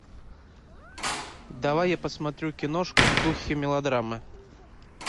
давай я посмотрю киношку в духе мелодрамы